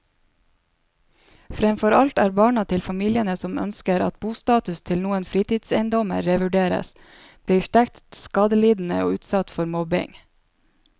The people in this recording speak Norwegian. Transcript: Fremfor alt er barna til familiene som ønsker at bostatus til noen fritidseiendommer revurderes, blitt sterkt skadelidende og utsatt for mobbing.